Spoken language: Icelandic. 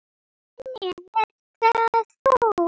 Svenni, ert það þú!?